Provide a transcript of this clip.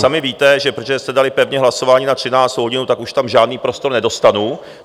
Sami víte, že protože jste dali pevně hlasování na 13. hodinu, tak už tam žádný prostor nedostanu.